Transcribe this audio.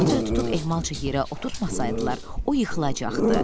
Poteri tutub ehmalca yerə oturtmasaydılar, o yıxılacaqdı.